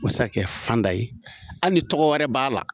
Masakɛ fanda ye hali ni tɔgɔ wɛrɛ b'a la.